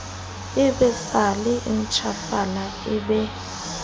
ebesela a ntjhafale e be